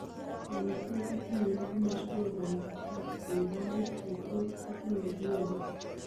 Eng' kila iuun komoswek ab kaa kouu baabit, chetot kotinye VRE